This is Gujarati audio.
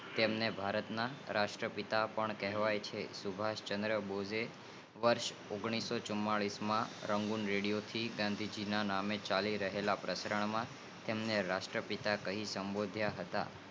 તેમને ભારત ના રાષ્ટ્ર પિતા પણ કહેવાય છે સુભાસચદરબોજ વર્ષ ઓગાણિસોચુમાંલીસ માં રંગોં રેડીઓ પરથી ગાંધી ના નામે ચાલી રહેલા પ્રકરણ માં તેમને રાષ્ટ્ર પિતા કહી સભોદિયા હતા